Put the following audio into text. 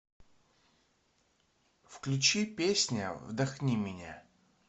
включи песня вдохни меня